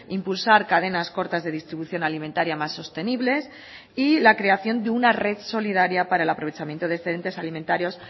impulsar cadenas cortas de distribución alimentaria mas sostenibles y la creación de una red solidaria para el aprovechamiento de excedentes alimentarios